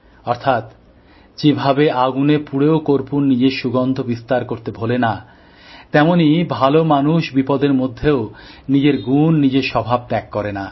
অর্থাৎ যেভাবে আগুনে পুড়েও কর্পূর নিজের সুগন্ধ বিস্তার করতে ভোলে না তেমনই ভালো মানুষ বিপদের মধ্যেও নিজের গুণ নিজের স্বভাবত্যাগ করে না